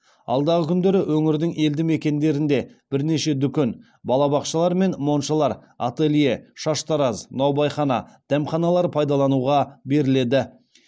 алдағы күндері өңірдің елді мекендерінде бірнеше дүкен балабақшалар мен моншалар ателье шаштараз наубайхана дәмханалар пайдалануға беріледі